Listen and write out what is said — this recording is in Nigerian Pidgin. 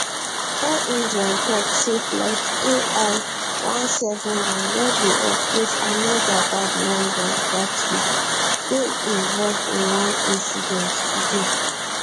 air india tok say flight ai one seven one wey dey operate ahmedabad london gatwick dey involved in one incident today